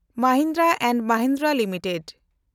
Mahindra and Mahindra limited